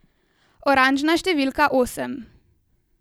Oranžna številka osem.